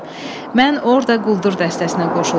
Mən orda quldur dəstəsinə qoşuldum.